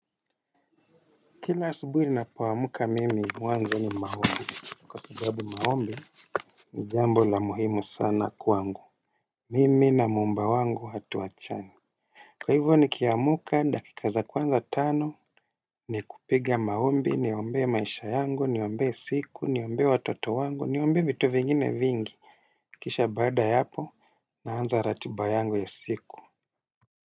Kila subuhi ni napawamuka mimi wanzo ni maombi. Kwa subabu maombi ni jambo la muhimu sana kwangu. Mimi na muumba wangu hatuwachani. Kwa hivyo nikiamka dakika za kwanza tano. Ni kupiga maombi ni ombee maisha yangu niombee siku ni ombee watoto wangu ni ombee vitu vingine vingi. Kisha baada ya hapo naanza ratiba yangu ya siku.